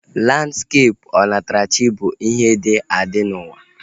Landskepụ onatarachi bụ ihe dị adị n'ụwa